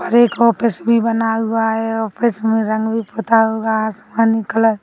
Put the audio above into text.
और एक ऑफिस भी बना हुआ है ऑफिस में रंग भी पुता हुआ है आसमानी कलर --